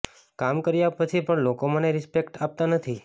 કામ કર્યા પછી પણ લોકો મને રિસ્પેક્ટ આપતા નથી